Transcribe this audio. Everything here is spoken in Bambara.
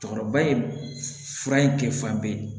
Cɛkɔrɔba in fura in kɛ fan bɛɛ